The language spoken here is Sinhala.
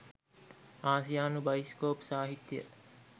ආසියානු බයිස්කොප් සාහිත්‍යය